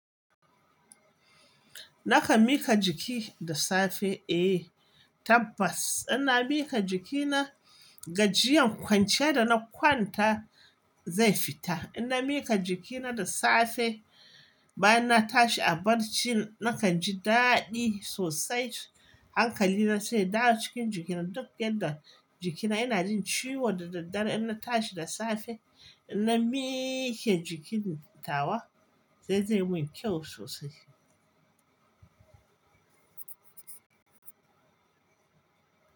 Nakan miƙa jiki da safe? Eh tabbas, ina miƙa jikina gajiyan kwanciyar da na kwanta zai fita. Ina miƙa jikina da safe bayan na tashi a barci, na kan ji daɗi sosai. Hankali na sai dawo cikin jikina duk yadda jikina yana jin ciwo da daddare. Inna tashi da safe, inna miiƙee jikina tawa zai zai wanke sosai.